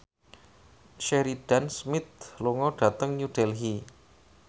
Sheridan Smith lunga dhateng New Delhi